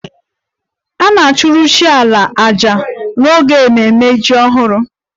A ga-achụrụ chi 'ala' àjà n'oge ememme jim ọhụrụ